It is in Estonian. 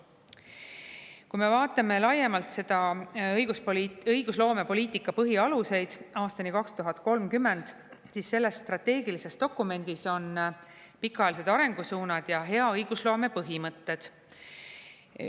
Kui me vaatame laiemalt õigusloomepoliitika põhialuseid aastani 2030, siis selles strateegilises dokumendis on pikaajalised arengusuunad ja hea õigusloome põhimõtted.